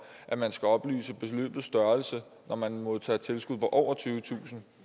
at man skal oplyse beløbets størrelse når man modtager tilskud på over tyvetusind